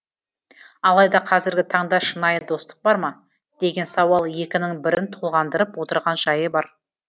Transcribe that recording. алайда қазіргі таңда шынайы достық бар ма деген сауал екінің бірін толғандырып отырған жайы бар